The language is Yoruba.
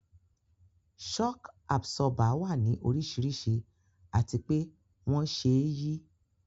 Shock Absorber wà ní oríṣiríṣi àti pé wón ṣe é yí